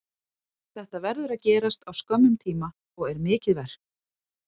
Þetta verður að gerast á skömmum tíma og er mikið verk.